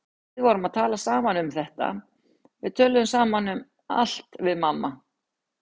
Við vorum að tala saman um þetta, við tölum saman um allt við mamma.